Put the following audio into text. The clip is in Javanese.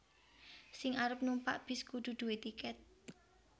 Sing arep numpak bis kudu due tiket